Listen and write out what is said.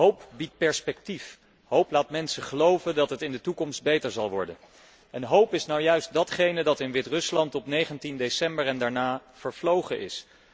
Hoop biedt perspectief, hoop laat mensen geloven dat het in de toekomst beter zal worden en hoop is nou juist datgene wat in Wit Rusland op 19 december en daarna vervlogen is.